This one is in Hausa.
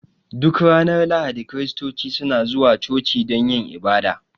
Duk ranar Lahadi Kiristoci suna zuwa coci don yin ibada